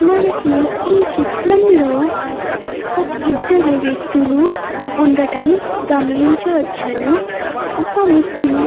మనకు ఈ చిత్రం లో ఒక ఇద్దరు వ్యక్తులు ఉండడం గమనించవచ్చును. ఒక వ్యక్తి--.